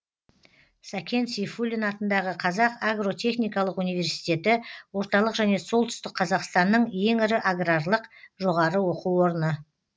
сәкен сейфуллин атындағы қазақ агротехникалық университеті орталық және солтүстік қазақстанның ең ірі аграрлық жоғары оқу орны